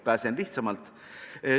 Pääsen lihtsamalt.